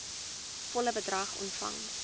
volle bedrag ontvang